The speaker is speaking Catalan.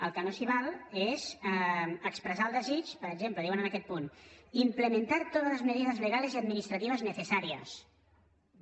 el que no s’hi val és expressar el desig per exemple que diuen en aquest punt implementar todas las medidas legales y administrativas necesarias